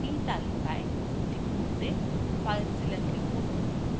in তালিকায় এটি খুলতে filezilla click করুন